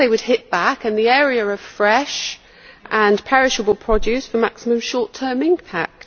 Of course they would hit back in the area of fresh and perishable produce for maximum short term impact.